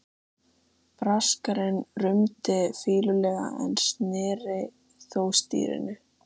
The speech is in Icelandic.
Braskarinn rumdi fýlulega en sneri þó stýrinu.